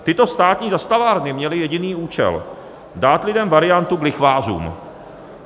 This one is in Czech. Tyto státní zastavárny měly jediný účel - dát lidem variantu k lichvářům.